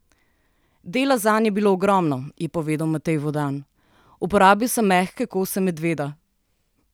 Dela zanj je bilo ogromno, je povedal Matej Vodan: "Uporabil sem mehke kose medveda.